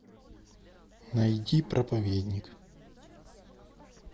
найди проповедник